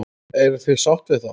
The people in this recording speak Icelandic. Eruð þið sátt við það?